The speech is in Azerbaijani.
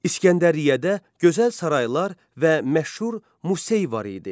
İsgəndəriyyədə gözəl saraylar və məşhur Musey var idi.